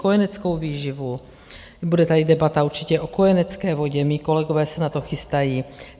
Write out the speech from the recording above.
Kojeneckou výživu, bude tady debata určitě o kojenecké vodě, mí kolegové se na to chystají.